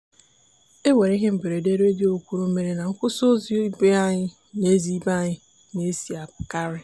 e nwere ihe mberede redio kwuru mere na nkwụsị ụzọ ebe anyị na-esi ebe anyị na-esi apụkarị.